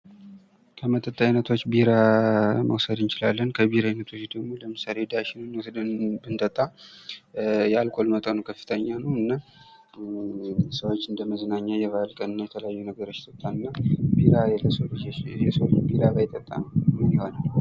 ከመጠጥ አይነቶች ቢራን መውሰድ እንችላለን ከቢራ አይነቶች ደሞ ለምሳሌ ዳሽንን ወስደን ብንጠጣ የአልኮል መጠጡ ከፍተኛ ነው። እና ሰዎች እንደመዝናኛ የበአል ቀንና የተለያዩ ነገሮችይጠጣል። ሰው ልጆች ቢራ ባይጠጡ ምን ይሆናል።